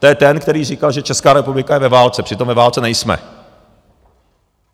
To je ten, který říkal, že Česká republika je ve válce, přitom ve válce nejsme.